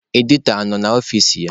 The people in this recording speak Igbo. Editọ a nọ n'ọfici ya?